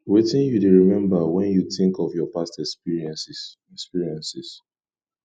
wetin you dey remember when you think of your past experiences experiences